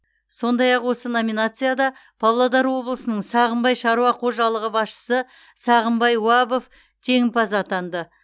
сондай ақ осы номинацияда павлодар облысының сағымбай шаруа қожалығы басшысы сағынбай уабов жеңімпаз атанды